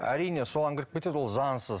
әрине соған кіріп кетеді ол заңсыз